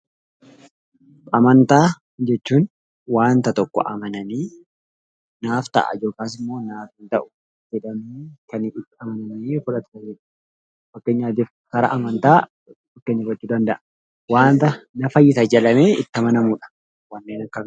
Amantaa jechuun waanta tokko amananii naaf ta'a yookiin naaf hin ta'u jedhanii kan itti amananii fudhatan jechuudha. Akkasumas, waanta na fayyisa jedhanii itti amanamudha.